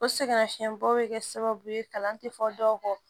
O sɛgɛnnafiɲɛbɔ bɛ kɛ sababu ye kalan tɛ fɔ dɔw kɔ